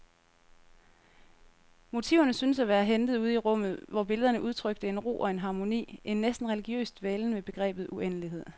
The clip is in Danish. Motiverne syntes at være hentet ude i rummet, hvor billederne udtrykte en ro og en harmoni, en næsten religiøs dvælen ved begrebet uendelighed.